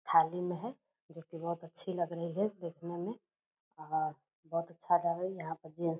थाली में है जो की बहुत अच्छी लग रही है देखने में और बहुत अच्छा यहां पर गेट्स --